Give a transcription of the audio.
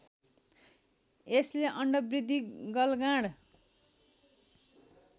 यसले अण्डवृद्धि गलगाँड